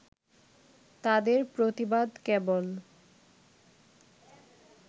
তাঁদের প্রতিবাদ কেবল